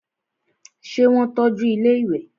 ṣé wọ́n tọ́ju ilẹ́ ìwẹ̀?